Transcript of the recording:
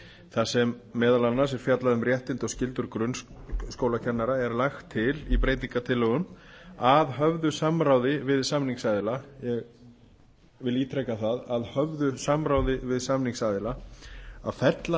þar sem meðal annars er fjallað um réttindi og skyldur grunnskólakennara er lagt til í breytingartillögum að höfðu samráði við samningsaðila ég vil ítreka það að höfðu samráði við samningsaðila að fella